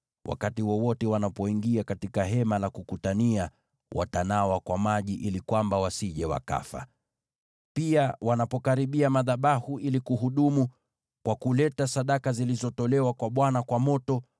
Wakati wowote wanapoingia katika Hema la Kukutania, watanawa kwa maji ili kwamba wasije wakafa. Pia, wanapokaribia madhabahu ili kuhudumu kwa kuleta sadaka zilizotolewa kwa Bwana kwa moto,